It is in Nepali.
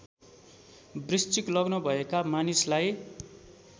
वृश्चिक लग्न भएका मानिसलाई